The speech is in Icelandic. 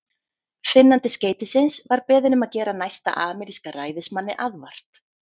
Finnandi skeytisins var beðinn um að gera næsta ameríska ræðismanni aðvart.